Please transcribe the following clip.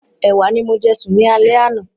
Ẹ̀wà ni mo jẹ sùn ní alẹ́ àná.